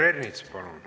Peeter Ernits, palun!